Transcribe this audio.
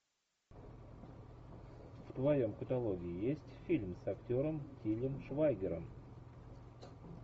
в твоем каталоге есть фильм с актером тилем швайгером